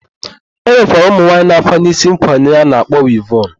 E nwekwara ụmụnwaanyị na-akwanye isi nkwanye a na-akpọ wivọn.